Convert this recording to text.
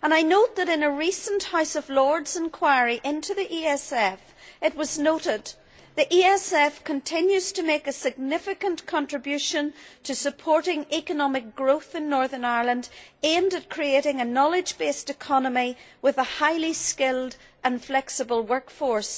and I note that in a recent House of Lords enquiry into the ESF, it was noted the ESF continues to make a significant contribution to supporting economic growth in Northern Ireland, aimed at creating a knowledge based economy with a highly skilled and flexible workforce.